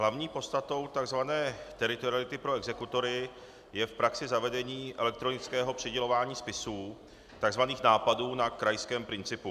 Hlavní podstatou tzv. teritoriality pro exekutory je v praxi zavedení elektronického přidělování spisů, tzv. nápadů, na krajském principu.